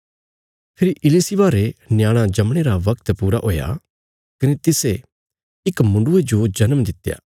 फेरी इलिशिबा रे न्याणा जमणे रा बगत पूरा हुया कने तिसे इक मुण्डुये जो जन्म दित्या